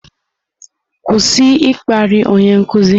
Kwụsị ịkparị onye nkuzi!